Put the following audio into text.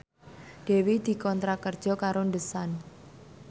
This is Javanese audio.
Dewi dikontrak kerja karo The Sun